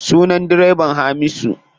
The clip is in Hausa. Sunan direban Hamisu.